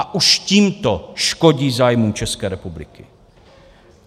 A už tímto škodí zájmu České republiky.